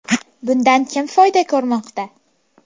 Bundan kim foyda ko‘rmoqda?